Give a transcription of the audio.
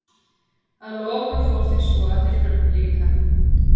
Að lokum fór því svo að þeir hurfu líka.